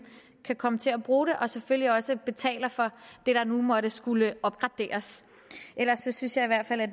kan komme til at bruge det og selvfølgelig også betaler for det der nu måtte skulle opgraderes ellers synes jeg i hvert fald at